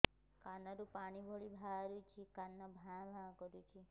କାନ ରୁ ପାଣି ଭଳି ବାହାରୁଛି କାନ ଭାଁ ଭାଁ କରୁଛି